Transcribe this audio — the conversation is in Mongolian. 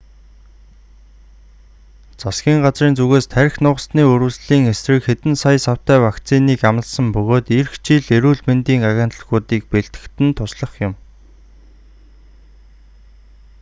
засгийн газрын зүгээс тархи нугасны үрэвслийн эсрэг хэдэн сая савтай вакциныг амласан бөгөөд ирэх жил эрүүл мэндийн агентлагуудыг бэлтгэхэд нь туслах юм